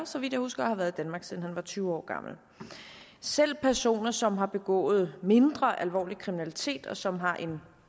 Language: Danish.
så vidt jeg husker og har været i danmark siden han var tyve år gammel selv personer som har begået mindre alvorlig kriminalitet og som har en